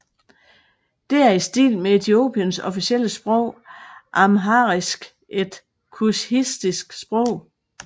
Det er i stil med Etiopiens officielle sprog amharisk et kushitisk sprog